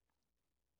DR P2